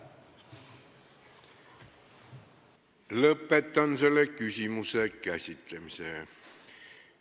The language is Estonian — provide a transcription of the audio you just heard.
Lõpetan selle küsimuse käsitlemise.